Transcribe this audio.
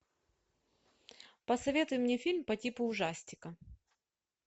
посоветуй мне фильм по типу ужастика